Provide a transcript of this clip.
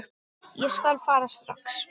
Ég skal fara strax.